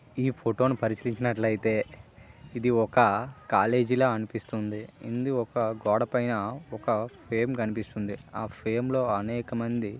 ఈ ఫోటో ని పరిశీలించినట్లయితే ఇది ఒక కాలేజీ లా అనిపిస్తుంది. ఇందు ఒక గోడ పైన ఒక ఫేమ్ కనిపిస్తుంది ఆ ఫేమ్ లో అనేక మంది --